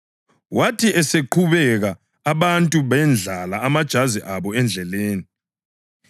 Wathi eseqhubeka, abantu bendlala amajazi abo endleleni.